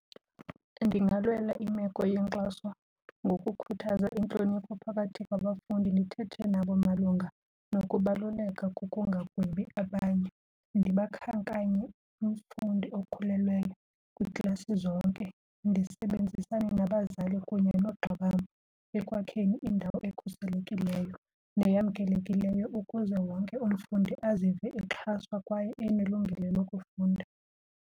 Ndingalwela imeko yenkxaso ngokukhuthaza intlonipho phakathi kwabafundi, ndithethe nabo malunga nokubaluleka kokungagwebi abanye. Ndibakhankanye umfundi okhulelweyo kwiiklasi zonke, ndisebenzisane nabazali kunye noogxa bam ekwakheni indawo ekhuselekileyo neyamkelekileyo ukuze wonke umfundi azive exhaswa kwaye enelungelo lokufunda.